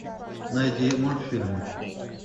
найди мультфильмы